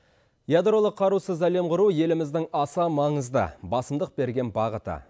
ядролық қарусыз әлем құру еліміздің аса маңызды басымдық берген бағыты